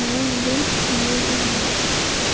nengo aliwo bunyasi